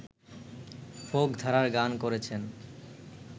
folk ধারার গান করেছেন